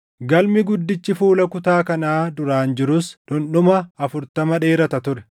Galmi guddichi fuula kutaa kanaa duraan jirus dhundhuma afurtama dheerata ture.